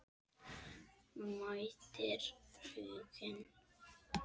Mætir Huginn?